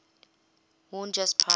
worn just prior